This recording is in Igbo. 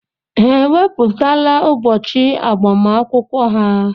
Ha ewepụtala ụbọchị agbamakwụkwọ ha?